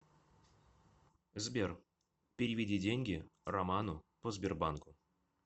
сбер переведи деньги роману по сбербанку